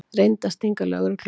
Reyndi að stinga lögreglu af